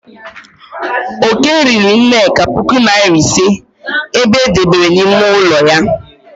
Oke riri nneka puku nari ise e debere n'ime ụlọ ya.